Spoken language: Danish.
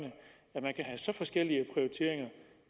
at man kan have så forskellige prioriteringer